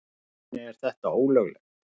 Í rauninni er þetta ólöglegt.